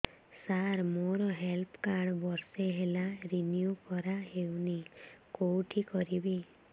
ସାର ମୋର health card ବର୍ଷେ ହେଲା ରିନିଓ କରା ହଉନି କଉଠି କରିବି